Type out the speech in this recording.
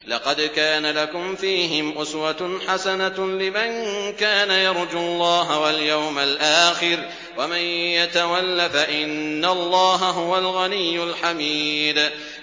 لَقَدْ كَانَ لَكُمْ فِيهِمْ أُسْوَةٌ حَسَنَةٌ لِّمَن كَانَ يَرْجُو اللَّهَ وَالْيَوْمَ الْآخِرَ ۚ وَمَن يَتَوَلَّ فَإِنَّ اللَّهَ هُوَ الْغَنِيُّ الْحَمِيدُ